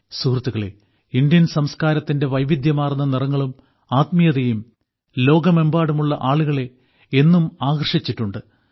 സുഹൃത്തുക്കളേ ഇന്ത്യൻ സംസ്കാരത്തിന്റെ വൈവിധ്യമാർന്ന നിറങ്ങളും ആത്മീയതയും ലോകമെമ്പാടുമുള്ള ആളുകളെ എന്നും ആകർഷിച്ചിട്ടുണ്ട്